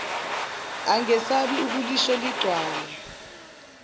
angesabi ukulisho ligcwale